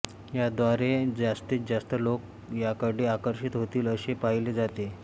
याद्वारे जास्तीत जास्त लोक याकडे आकर्षित होतील असे पाहिले जाते